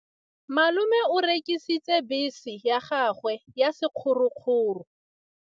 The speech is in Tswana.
Malome o rekisitse bese ya gagwe ya sekgorokgoro.